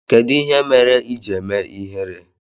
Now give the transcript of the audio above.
Kedụ ihe mere iji eme ihere?